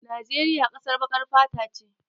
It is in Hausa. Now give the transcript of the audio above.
Najeriya ƙasar baƙar fata ce.